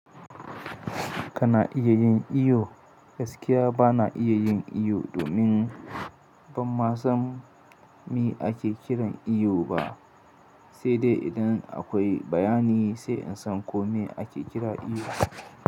Kana iya yin iyo? Gaskiya ba na iya yin iyo domin ban ma san me ake kiran iyo ba, sai dai idan akwai bayani sai in san kome ake kira iyo.